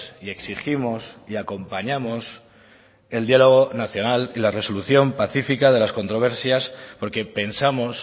y exigimos y acompañamos el diálogo nacional y la resolución pacífica de las controversias porque pensamos